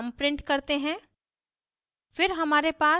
इसमें sum sum print करते हैं